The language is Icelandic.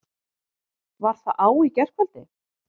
Var það á í gærkvöldi?